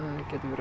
getur verið